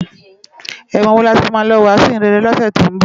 Èwòn wó làmá ti ló wàsún iróyin réré ni òsè tó n bò?